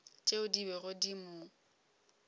tšeo di bego di mo